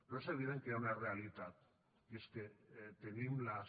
però és evident que hi ha una realitat i és que tenim les